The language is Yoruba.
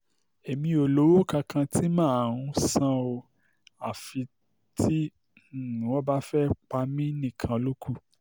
èmi ò lówó kankan tí mà á um san ọ́ àfi tí um wọ́n bá fẹ́ẹ́ pa mí nìkan ló kù